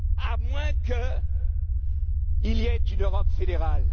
pas nous! À moins qu'il y ait une Europe